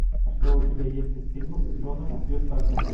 что у тебя есть из фильмов с джоном кьюсаком